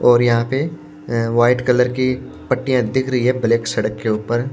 और यहां पे अ वाइट कलर की पट्टियां दिख रही है ब्लैक सड़क के ऊपर--